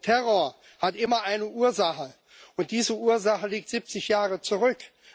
Denn Terror hat immer eine Ursache, und diese Ursache liegt siebzig Jahre zurück.